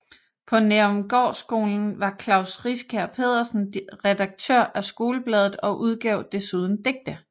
På Nærumgårdskolen var Klaus Riskær Pedersen redaktør af skolebladet og udgav desuden digte